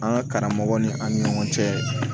An ka karamɔgɔw ni an ni ɲɔgɔn cɛ